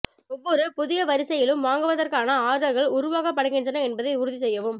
ஒவ்வொரு புதிய வரிசையிலும் வாங்குவதற்கான ஆர்டர்கள் உருவாக்கப்படுகின்றன என்பதை உறுதி செய்யவும்